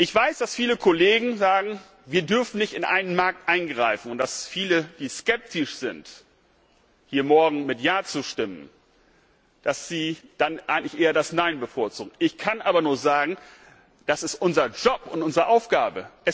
Ich weiß, dass viele Kollegen sagen, wir dürfen nicht in einen Markt eingreifen, und dass viele skeptisch sind, hier morgen mit Ja zu stimmen und eher das Nein bevorzugen. Ich kann aber nur sagen, das ist unser Job und unsere Aufgabe!